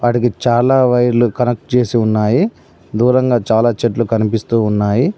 వాటికి చాలా వైర్లు కనెక్ట్ చేసి ఉన్నాయి. దూరంగా చాలా చెట్లు కనిపిస్తూ ఉన్నాయి.